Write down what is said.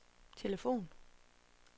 telefon